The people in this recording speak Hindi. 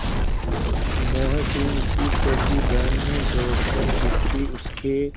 मोहसिन की छोटी बहन ने दौड़कर भिश्ती उसके